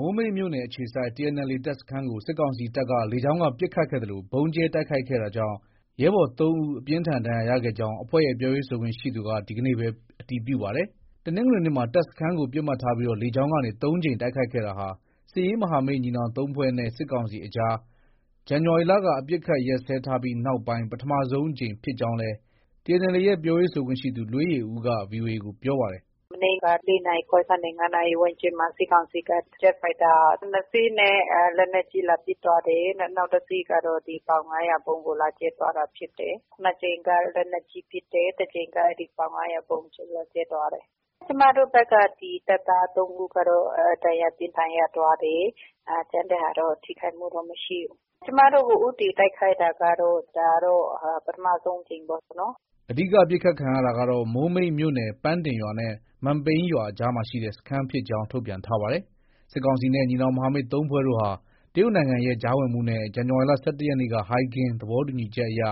မိုးမိတ်မြို့နယ် အခြေစိုက် TNLA တပ်စခန်းကို စစ်ကောင်စီတပ်က လေကြောင်းက ပစ်ခတ်ခဲ့သလို ဗုံးကြဲတိုက်ခိုက်ခဲ့တာကြောင့် ရဲဘော် ၃ ဦး အပြင်းအထန် ဒဏ်ရာရခဲ့ကြောင်း အဖွဲ့ရဲ့ ပြောခွင့်ရသူက ဒီကနေ့ပဲ အတည်ပြုပါတယ်။ တနင်္ဂနွေနေ့မှာ တပ်စခန်းကို ပစ်မှတ်ထားပြီး လေကြောင်းကနေ ၃ ကြိမ် တိုက်ခိုက်ခဲ့တာဟာ စစ်ရေးမဟာမိတ်ညီနောင် ၃ ဖွဲ့နဲ့ စစ်ကောင်စီကြား ဇန်နဝါရီလကစ အပစ်အခတ်ရပ်စဲထားပြီးနောက်ပိုင်း ပထမဆုံးအကြိမ် ဖြစ်ကြောင်းလည်းTNLA ရဲ့ ပြောရေးဆိုခွင့်ရှိသူ လွေးယေဦးက VOA ကို ပြောပါတယ်။ “ မနေ့က ၄နာရီခွဲကနေ ၅နာရီ ဝန်းကျင်မှာ စစ်ကောင်စီက ဂျက်ဖိုက်တာ ၂ စီးနဲ့ လက်နက်ကြီး လာပစ်သွား တယ်။ နောက်တစီးကတော့ ပေါင် ၅၀၀ ဗုံးကို လာကြဲသွားတာဖြစ်တယ်။ ၂ ကြိမ်က လက်နက်ကြီး ပစ်တယ်။ တကြိမ်က ပေါင် ၅၀၀ ဗုံးကြဲသွားတယ်။ ကျမတို့ဘက်က တပ်သား ၃ ဦးကတော့ ဒဏ်ရာ ပြင်းထန်ရသွားတယ်။ ကျန်တဲ့ဟာတော့ ထိခိုက်မှုတော့ မရှိဘူး။ ကျမတို့ကို ဦးတည်တိုက်ခိုက်တာ ကတော့ ဒါတော့ ပထမဆုံးအကြိမ် ပေါ့နော်။” အဓိက ပစ်ခတ်ခံရတာကတော့ မိုးမိတ်မြို့နယ် ပန်းတင်ရွာနဲ့ မန်ပိန်းရွာအကြားရှိ စခန်းဖြစ်ကြောင်း ထုတ်ပြန်ထားပါတယ်။ စစ်ကောင်စီနဲ့ ညီနောင်မဟာမိတ် ၃ဖွဲ့တို့ဟာ တရုတ်နိုင်ငံရဲ့ ကြားဝင်မှုနဲ့ ဇန်နဝါရီလ ၁၁ရက်က ဟိုင်ဂင်သဘောတူညီချက်အရ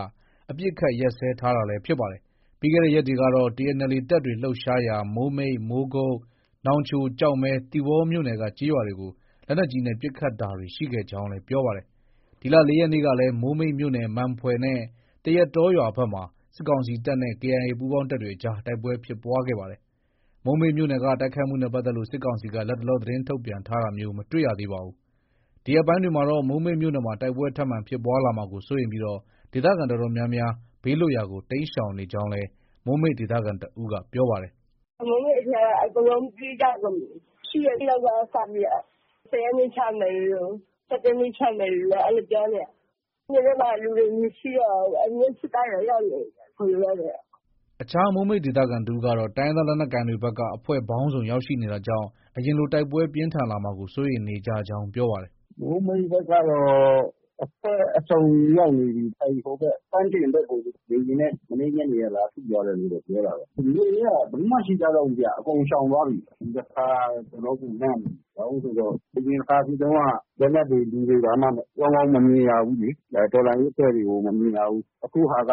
အပစ်အခတ်ရပ်စဲထားတာလည်း ဖြစ်ပါတယ်။ ပြီးခဲ့တဲ့ ရက်တွေကတော့ TNLA တပ်တွေ လှုပ်ရှားရာ မိုးမိတ်၊ မိုးကုတ်၊ နောင်ချို၊ ကျောက်မဲ၊ သီပေါမြို့နယ်က ကျေးရွာတွေကို လက်နက်ကြီးနဲ့ ပစ်ခတ်တာတွေ ရှိခဲ့ကြောင်းလည်း ပြောပါတယ်။ ဒီလ ၄ရက်နေ့ကလည်း မိုးမိတ်မြို့နယ် မန်ဖွယ်နဲ့ သရက်တောရွာဘက်မှာ စစ်ကောင်စီတပ်နဲ့ KIA ပူးပေါင်းတပ်တွေအကြား တိုက်ပွဲ ဖြစ်ပွားခဲ့ပါတယ်။ မိုးမိတ်မြို့နယ်က တိုက်ခိုက်မှုနဲ့ ပတ်သက်လို့ စစ်ကောင်စီက လတ်တလော သတင်းထုတ်ပြန်တာမျိုးတော့ မတွေ့ရသေးပါဘူး။ ဒီရက်ပိုင်းတွေမှာတော့ မိုးမိတ်မြို့မှာ တိုက်ပွဲ ထပ်မံဖြစ်ပွားလာမှာကို စိုးရိမ်ပြီး ဒေသခံအတော်များများဟာ ဘေးလွတ်ရာကို တိမ်းရှောင်နေကြောင်းလည်း မိုးမိတ်ဒေသခံတဦးက ပြောပါတယ်။ “ မိုးမိတ်ထဲက အကုန်လုံးပြေးကြကုန်ပြီ။ ၈ ရက်နေ့လောက်က စပြေးတာ။ ၁၀ ရက်နေ့ ချမယ်လိုလို၊ ၁၁ ရက်နေ့ချမယ်လိုလို အဲလို ပြောနေတာ။ မြို့ထဲမှာက လူတွေ မရှိတော့ဘူး။ စစ်သားတွေတော့ ရောက်နေပြီ အခုလောလောဆည်က။ ” အခြား မိုးမိတ်ဒေသခံတဦးကတော့ တိုင်းရင်းသားလက်နက်ကိုင်တွေဘက်က အဖွဲ့ပေါင်းစုံရောက်ရှိနေတာ ကြောင့် အရင်လို တိုက်ပွဲပြင်းထန်လာမှာကို စိုးရိမ်နေကြကြောင်း ပြောပါတယ်။ “ မိုးမိတ်ကတော့ အဖွဲ့အစုံရောက်နေပြီ။ အဲဒီ ဟိုဘက် ပန်းတင်ဘက်ကို လေယာဉ်နဲ့ မနေ့ညနေက လာထုသွားတယ်လို့တော့ ပြောတာပဲ။ မြို့ထဲက ဘယ်သူမှ မရှိကြတော့ဘူးဗျ။ အကုန်ရှောင်သွားပြီ။ ဒီတခါ တော်တော်ကို လန့်နေတာ။ ဘာလို့လဲဆိုတော့ အရင်တခါ ဖြစ်တုံးက လက်နက်တွေ လူတွေ ဘာမှ ကောင်းကောင်း မမြင်ရဘူးလေ။ တော်လှန်ရေးအဖွဲ့တွေကို မမြင်ရဘူး။ အခုဟာက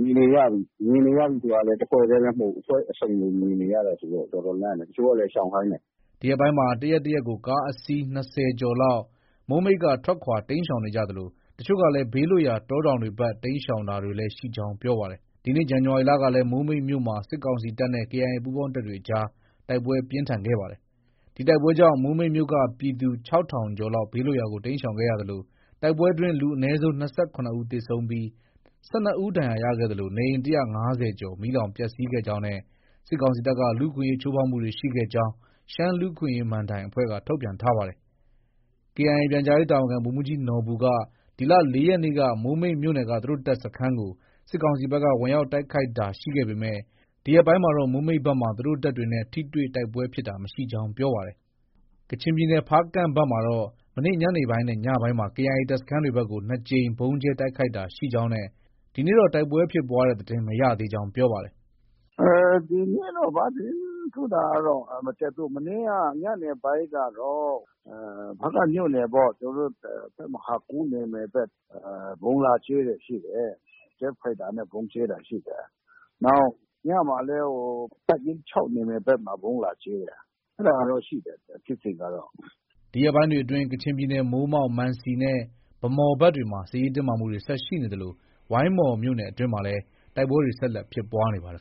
မြင်နေရပြီ။ မြင်နေရတာကလည်း တဖွဲ့တည်းလည်း မဟုတ်ဘူး။ အဖွဲ့အစုံကို မြင်နေရတာဆိုတော့ တော်တော်လန့်တယ်။ တချို့လည်း ရှောင်ခိုင်းတယ်။ ” ဒီရက်ပိုင်းမှာ တရက်၊ တရက်ကို ကားအစီး ၂၀ ကျော်လောက် မိုးမိတ်က ထွက်ခွာတိမ်းရှောင်နေသလို အချို့ကလည်း ဘေးလွတ်ရာ တောတောင်တွေဘက် တိမ်းရှောင်တာလည်း ရှိကြောင်း ပြောပါတယ်။ ဒီနှစ် ဇန်နဝါရီလကလည်း မိုးမိတ်မြို့မှာ စစ်ကောင်စီတပ်နဲ့ KIA ပူုးပေါင်းတပ်တွေ အကြား တိုက်ပွဲပြင်းထန် ခဲ့ပါတယ်။ ဒီတိုက်ပွဲကြောင့် မိုးမိတ်မြို့က ပြည်သူ ၆၀၀၀ကျော်လောက် ဘေးလွတ်ရာကို တိမ်းရှောင်ခဲ့ရသလို တိုက်ပွဲအတွင်း လူ အနည်းဆုံး ၂၇ဦးသေဆုံးပြီး ၁၂ဦး ဒဏ်ရာရခဲ့သလို နေအိမ် ၁၅၀ကျော် မီးလောင်ပျက်ဆီးခဲ့ကြောင်းနဲ့ စစ်ကောင်စီတပ်က လူအခွင့်အရေးချိုးဖောက်မှုတွေ ရှိခဲ့ကြောင်း ရှမ်းလူ့အခွင့်အရေး မဏ္ဍိုင်အဖွဲ့က ထုတ်ပြန်ထားပါတယ်။ KIA ပြန်ကြားရေးတာဝန်ခံ ဗိုလ်မှုးကြီးနော်ဘူက ဒီလ ၄ ရက်နေ့က မိုးမိတ်မြို့နယ်က သူတို့တပ်စခန်းကို စစ်ကောင်စီဘက်က ဝင်ရောက်တိုက်ခိုက်တာရှိခဲ့ပေမဲ့ ဒီရက်ပိုင်းမှာတော့ မိုးမိတ်ဘက်မှာ သူတို့တပ်တွေနဲ့ ထိတွေ့ တိုက်ပွဲဖြစ်တာ မရှိကြောင်း ပြောပါတယ်။ ကချင်ပြည်နယ် ဖားကန့်ဘက်မှာတော့ မနေ့ ညနေပိုင်းနဲ့ ညပိုင်းမှာ KIA တပ်စခန်းဘက်တွေကို ၂ကြိမ် ဗုံးကြဲတိုက်ခိုက်တာရှိကြောင်းနဲ့ ဒီနေ့တော့ တိုက်ပွဲဖြစ်ပွားတဲ့သတင်း မရသေးကြောင်း ပြောပါတယ်။ “ ဒီနေ့တော့ ဘာသတင်းထူးတာမှတော့ မတက်ဘူး။ မနေ့က ညနေပိုင်းကတော့ ဖားကန့်မြို့နယ်ပေါ့။ ကျနောတို့ တပ်မဟာ ၇နယ်မြေဘက် ဗုံးလာကြဲတာရှိတယ်။ ဂျက်ဖိုက်တာနဲ့ ဗုံးကြဲတာရှိတယ်။ နောက် ညမှာလည်း တပ်ရင်း ၆နယ်မြေဘက်မှာ ဗုံးလာကြဲတယ်။ အဲဒါကတော့ ရှိတယ် ဖြစ်စဉ်ကတော့။” ဒီရက်ပိုင်းတွေအတွင်း ကချင်ပြည်နယ် မိုးမောက်၊ မန်စီနဲ့ ဗန်းမော်ဘက်တွေမှာ စစ်ရေးတင်းမာမှုတွေ ဆက် ရှိနေသလို ဝိုင်းမော်မြို့နယ်အတွင်းမှာလည်း တိုက်ပွဲတွေ ဆက်လက် ဖြစ်ပွားနေပါတယ်